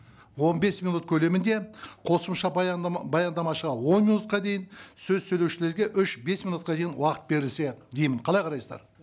он бес минут көлемінде қосымша баяндамашыға он минутқа дейін сөз сөйлеушілерге үш бес минутқа дейін уақыт берілсе деймін қалай қарайсыздар